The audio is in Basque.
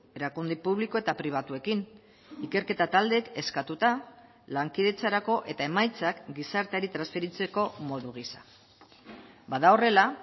erakunde publiko eta pribatuekin ikerketa taldeek eskatuta lankidetzarako eta emaitzak gizarteari transferitzeko modu gisa bada horrela